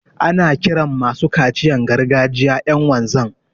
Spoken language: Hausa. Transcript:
Ana kiran masu kaciyan gargajiya ƴan wanzan.